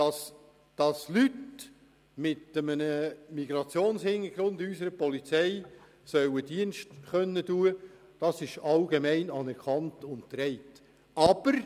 Dass Leute mit einem Migrationshintergrund unserer Polizei Dienst leisten können sollen, ist allgemein und breit anerkannt.